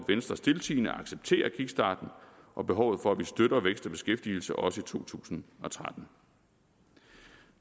venstre stiltiende accepterer kickstarten og behovet for at vi støtter vækst og beskæftigelse også i to tusind og tretten